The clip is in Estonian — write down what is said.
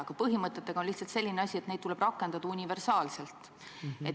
Aga põhimõtetega on lihtsalt selline asi, et neid tuleb rakendada universaalselt.